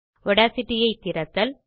Audacity ஐ திறத்தல்